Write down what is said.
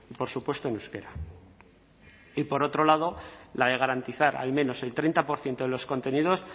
por supuesto en euskera y por otro lado la de garantizar al menos el treinta por ciento de los contenidos